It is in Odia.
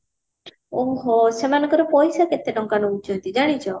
ଓହୋ ସେମାନଙ୍କର ପଇସା କେତେ ଟଙ୍କା ନଉଛନ୍ତି ଜାଣିଛ